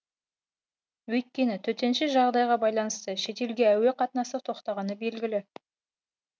өйткені төтенше жағдайға байланысты шетелге әуе қатынасы тоқтағаны белгілі